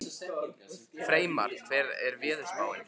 Freymar, hvernig er veðurspáin?